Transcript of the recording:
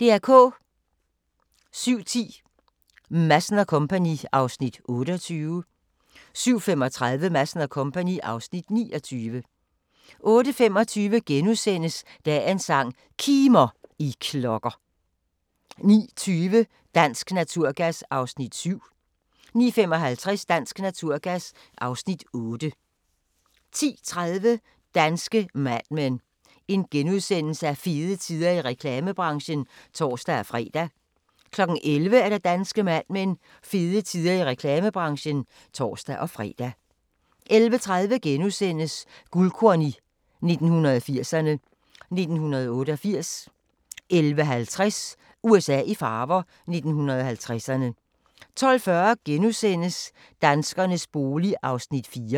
07:10: Madsen & Co. (Afs. 28) 07:35: Madsen & Co. (Afs. 29) 08:25: Dagens sang: Kimer, I klokker * 09:20: Dansk Naturgas (Afs. 7) 09:55: Dansk Naturgas (Afs. 8) 10:30: Danske Mad Men: Fede tider i reklamebranchen *(tor-fre) 11:00: Danske Mad Men: Fede tider i reklamebranchen (tor-fre) 11:30: Guldkorn 1980'erne: 1988 * 11:50: USA i farver – 1950'erne 12:40: Danskernes bolig (Afs. 4)*